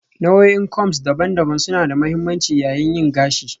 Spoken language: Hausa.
Nau'o'in combs daban-daban suna da mahimmanci yayin yin gashi